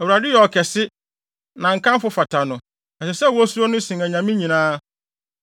Awurade yɛ ɔkɛse! Na nkamfo fata no! Ɛsɛ sɛ wosuro no sen anyame nyinaa.